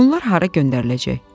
Bunlar hara göndəriləcək?